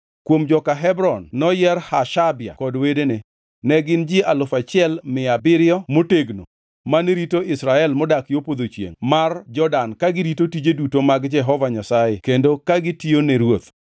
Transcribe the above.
Kuom joka Hebron noyier Hashabia kod wedene. Ne gin ji alufu achiel mia abiriyo motegno, mane rito jo-Israel modak yo podho chiengʼ mar Jordan ka girito tije duto mag Jehova Nyasaye kendo ka gitiyone ruoth.